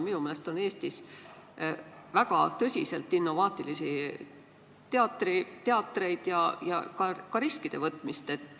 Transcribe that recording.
Minu meelest on Eestis väga tõsiselt innovaatilisi teatreid ja võetakse ka riske.